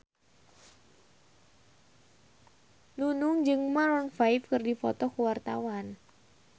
Nunung jeung Maroon 5 keur dipoto ku wartawan